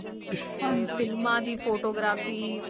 ਹਾਂਜੀ ਤੇ ਫਿਲਮਾਂ ਦੀ photography